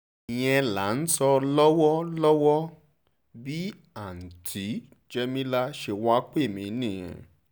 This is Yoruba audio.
ìyẹn là ń sọ lọ́wọ́ o lọ́wọ́ o bí àùntì jẹ́mílà ṣe wáá pè mí nìyẹn